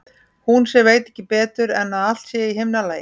Hún sem veit ekki betur en að allt sé í himnalagi.